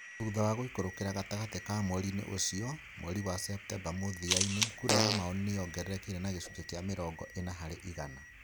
Thutha wa guikurukĩra gatagatĩ ka mweri-inĩ ũcio, mweri wa Septemba mũthia-in kura yamaoni nĩyogererekire na gĩcunjĩ kĩa mirongo ina harĩ igana